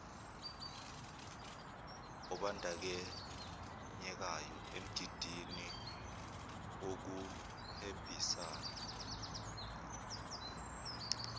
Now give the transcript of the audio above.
obandanyekayo emgidini wokuhwebisana